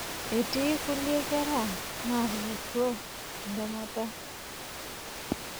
Etii nkulie kera naatupurro entemata.